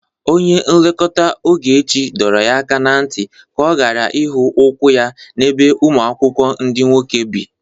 Onye nlekwa Ogechi dọrọ ya aka na ntị ka ọ gara ịhụ ụkwụ ya n'ebe ụmụ akwụkwọ ndị nwoke bi